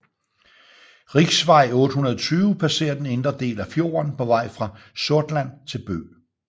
Riksvei 820 passerer den indre del af fjorden på vej fra Sortland til Bø